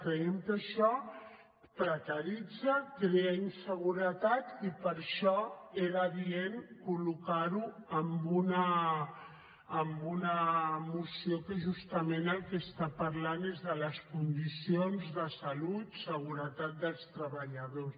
creiem que això precaritza crea inseguretat i per això era adient col·locar ho en una moció que justament del que està parlant és de les condicions de salut seguretat dels treballadors